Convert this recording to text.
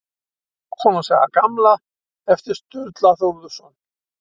Hákonar saga gamla eftir Sturlu Þórðarson.